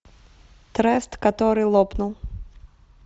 трест который лопнул